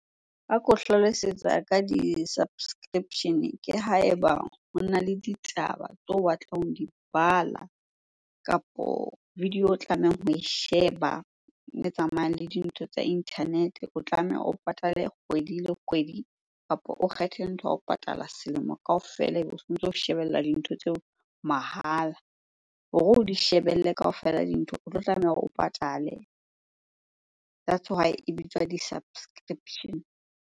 Ha ke o hlalosetsa ka di-subscription-e ke ha eba hona le ditaba tseo o batlang ho di bala kapo video o tlamehang ho e sheba e tsamayang le dintho tsa internet-e. O tlameha o patale kgwedi le kgwedi kapo o kgethe ntho ya ho patala selemo kaofela ebe o sontso o shebella dintho tseo mahala. Hore o di shebelle kaofela dintho, o tlo tlameha hore o patale. That's why e bitswa di-subscription.